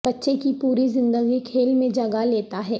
بچے کی پوری زندگی کھیل میں جگہ لیتا ہے